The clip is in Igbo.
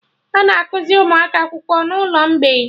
Ana akuzi ụmụaka akwụkwọ n'ụlọ mgbei